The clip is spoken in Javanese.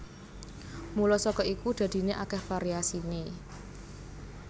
Mula saka iku dadiné akèh variasiné